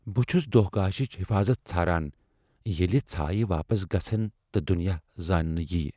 بہٕ چُھس دوہ گاشِچ حفاظت ژھاران ، ییلہِ ژھایہ واپس گژھن تہٕ دُنیاہ زاننہٕ یی ۔